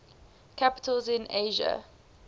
capitals in asia